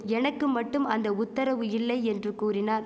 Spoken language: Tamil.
எனக்கு மட்டும் அந்த உத்தரவு இல்லை என்று கூறினார்